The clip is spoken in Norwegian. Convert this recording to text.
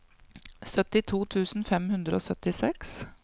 syttito tusen fem hundre og syttiseks